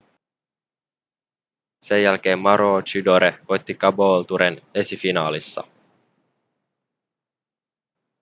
sen jälkeen maroochydore voitti caboolturen esifinaalissa